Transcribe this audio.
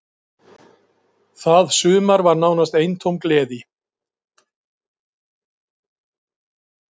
Það sumar var nánast eintóm gleði.